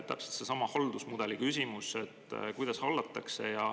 Täpselt seesama haldusmudeli küsimus, et kuidas hallatakse.